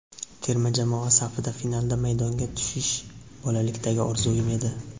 Terma jamoa safida finalda maydonga tushish bolalikdagi orzum edi.